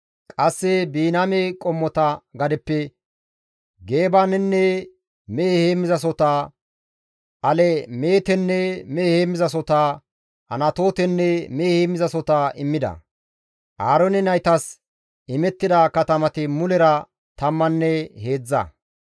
Qasse Biniyaame qommota gadeppe Geebanenne mehe heemmizasohota, Alemeetenne mehe heemmizasohota, Anatootenne mehe heemmizasohota immida; Aaroone naytas imettida katamati mulera tammanne heedzdza.